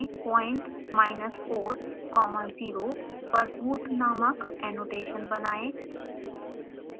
point minus 4 comma 0 पर root नामक annotation बनाएं